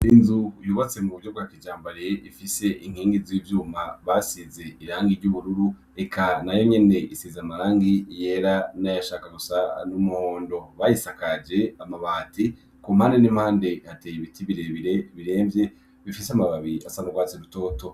Inzu yubatse mu buryo rwa kijambare ifise inkingi z'ivyuma basize irangi ry'ubururu eka na yo nyene isize amarangi yera n'ayashaka gusa n'umuhondo bayisakaje amabati ku mpane n'impande hateye ibiti iee biremvye bifise amababi asanrwatse rutoto.